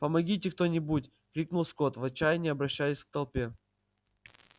помогите кто нибудь крикнул скотт в отчаянии обращаясь к толпе